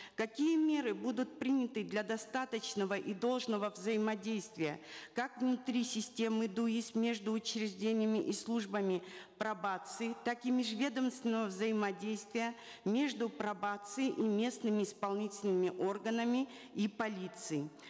какие меры будут приняты для достаточного и должного взаимодействия как внутри системы дуис между учреждениями и службами пробации так и межведомственного взаимодействия между пробацией и местными исполнительными органами и полицией